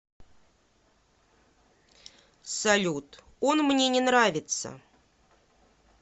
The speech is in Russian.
салют он мне не нравится